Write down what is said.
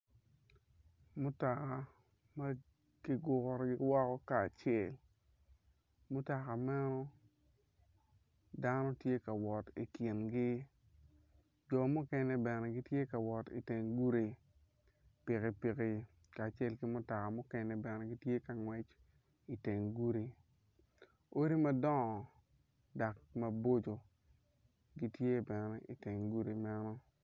Mutoka makiguro iwako karacel mutoka meno dano tye ka wot i kingi jo mukene ben gitye ka wot i teng gudi pikipiki kacek ki mutoka mukene bene gitye ka ngwec i teng gudi odi madongo dok maboco gitye bene i teng gudi medo.